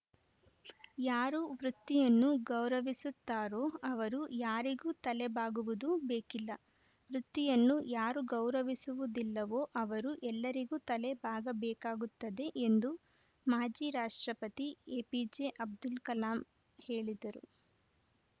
ಯಾರು ವೃತ್ತಿಯನ್ನು ಗೌರವಿಸುತ್ತಾರೋ ಅವರು ಯಾರಿಗೂ ತಲೆಬಾಗುವುದು ಬೇಕಿಲ್ಲ ವೃತ್ತಿಯನ್ನು ಯಾರು ಗೌರವಿಸುವುದಿಲ್ಲವೋ ಅವರು ಎಲ್ಲರಿಗೂ ತಲೆ ಬಾಗಬೇಕಾಗುತ್ತದೆ ಎಂದು ಮಾಜಿ ರಾಷ್ಟ್ರಪತಿ ಎಪಿಜೆ ಅಬ್ದುಲ್‌ಕಲಾಂ ಹೇಳಿದ್ದರು